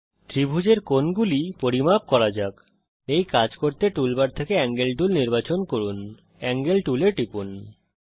এই ত্রিভুজের কোণগুলি পরিমাপ করা যাক এই কাজ করতে টুল বার থেকে এঙ্গেল টুল নির্বাচন করুন এঙ্গেল টুল এ টিপুন